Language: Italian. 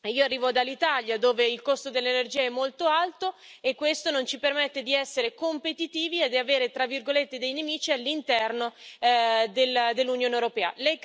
Io arrivo dall'Italia, dove il costo dell'energia è molto alto e questo non ci permette di essere competitivi e di avere, tra virgolette, dei nemici all'interno dell'Unione europea.